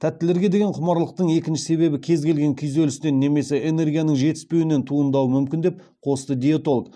тәттілерге деген құмарлықтың екінші себебі кез келген күйзелістен немесе энергияның жетіспеуінен туындауы мүмкін деп қосты диетолог